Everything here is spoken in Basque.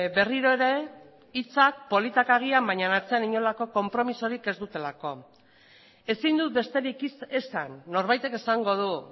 berriro ere hitzak politak agian baina atzean inolako konpromiso ez dutelako ezin dut besterik esan norbaitek esango du